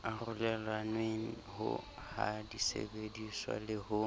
arolelanweng ha disebediswa le ho